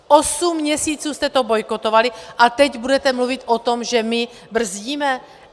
Osm měsíců jste to bojkotovali, a teď budete mluvit o tom, že my brzdíme?